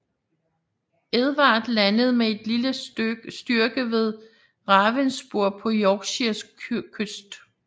Edvard landede med en lille styrke vedRavenspur på Yorkshires kyst